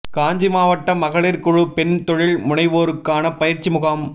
காஞ்சி மாவட்ட மகளிர் குழு பெண் தொழில் முனைவோருக்கான பயிற்சி முகாம்